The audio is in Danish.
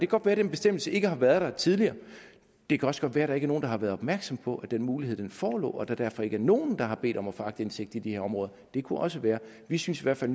godt være den bestemmelse ikke har været der tidligere og det kan også godt være der ikke er nogen der har været opmærksom på at den mulighed forelå og at der derfor ikke er nogen der har bedt om at få aktindsigt i de her områder det kunne også være vi synes i hvert fald